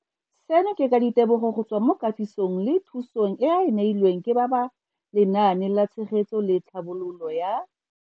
Seno ke ka ditebogo go tswa mo katisong le thu song eo a e neilweng ke ba Lenaane la Tshegetso le Tlhabololo ya.